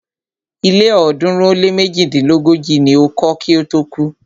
Ilé ọ̀ọ́dúnrún ó lé méjidínlógójì ni o kọ́ kí ó tó kú.